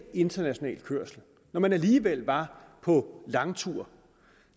international kørsel når man alligevel var på langtur